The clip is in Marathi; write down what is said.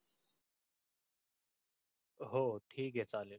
हो ठीक आहे चालेल.